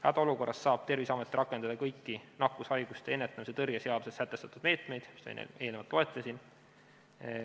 Hädaolukorras saab Terviseamet rakendada kõiki nakkushaiguste ennetamise ja tõrje seaduses sätestatud meetmeid, mida ma eelnevalt loetlesin.